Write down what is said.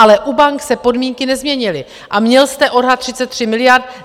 Ale u bank se podmínky nezměnily a měl jste odhad 33 miliard.